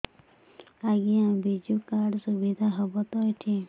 ଆଜ୍ଞା ବିଜୁ କାର୍ଡ ସୁବିଧା ହବ ତ ଏଠି